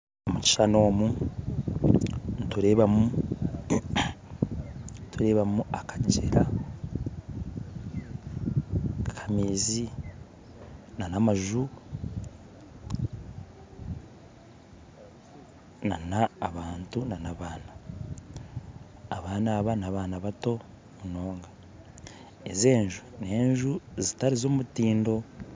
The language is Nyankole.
Omukishushani omu niturebamu turebamu akagyera akamaizi na amaju na abantu n'abaana, abaana aba n'abaana bato munonga, ezi enju n'enju zitari z'omutindo.